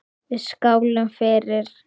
Við skálum fyrir